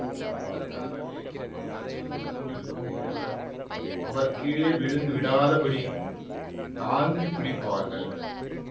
அதற்காகவே பக்கத்தில் நின்று கொண்டிருக்கும் இருவர் அவர் கீழே விழுந்து விடாதபடி தாங்கி பிடிப்பார்கள்